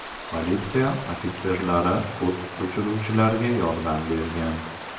Politsiya ofitserlari o‘t o‘chiruvchilarga yordam bergan.